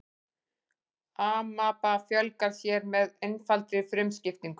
amaba fjölgar sér með einfaldri frumuskiptingu